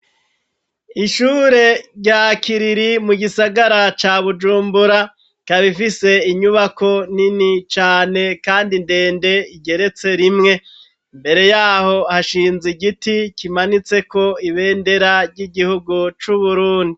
Ishure, rya kiriri mu gisagara ca Bujumbura ,kabifise inyubako nini cane, kandi ndende ,igeretse rimwe, imbere yaho hashinze igiti ,kimanitseko, ibendera ry'igihugu c'uburundi